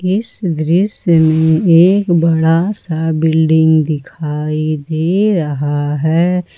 इस दृश्य में एक बड़ा सा बिल्डिंग दिखाई दे रहा है।